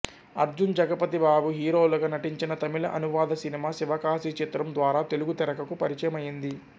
అర్జున్ జగపతి బాబు హీరోలుగా నటించిన తమిళ అనువాద సినిమా శివకాశి చిత్రం ద్వారా తెలుగు తెరకు పరిచయమయింది